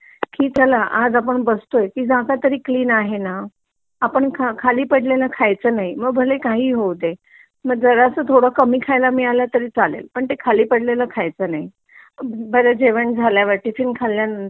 की चल आपण बसतोय ती जागा तरी क्लीन आहे ना, आपण कखली पडलेला खायचा नाही मग भले काहीही होऊ दे मग जरा स थोडा कामी खेळ मिळाला तरी चालेल पण ते खाली पडलेला खायचा नाही . बरं जेवण झाल्यावर आपण टिफिन